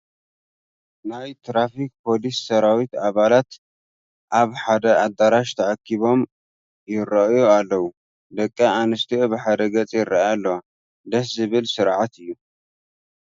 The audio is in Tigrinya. ናይ ትራፊክ ፖሊስ ሰራዊት ኣባላት ኣብ ሓደ ኣዳራሽ ተኣኪቦም ይርአዩ ኣለዉ፡፡ ደቂ ኣንስትዮ ብሓደ ገፅ ይርአያ ኣለዋ፡፡ ደስ ዝብል ስርዓት እዩ፡፡